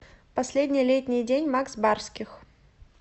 последний летний день макс барских